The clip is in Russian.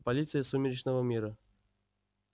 полиция сумеречного мира